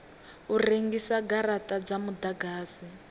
u rengisa garata dza mudagasi